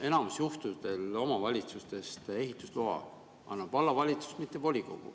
Enamus juhtudel omavalitsustes ehitusloa annab vallavalitsus, mitte volikogu.